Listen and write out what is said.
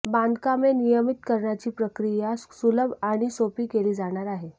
बांधकामे नियमितकरणाची प्रक्रिया सुलभ आणि सोपी केली जाणार आहे